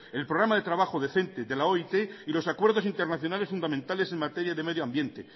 el programa de trabajo decente de la oit y los acuerdos internacionales fundamentales en materia de medio ambiente